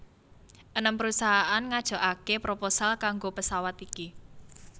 Enem perusahaan ngajokake proposal kanggo pesawat iki